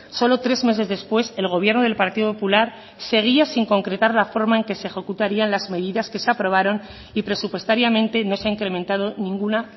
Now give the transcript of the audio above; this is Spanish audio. solo tres meses después el gobierno del partido popular seguía sin concretar la forma en que se ejecutarían las medidas que se aprobaron y presupuestariamente no se ha incrementado ninguna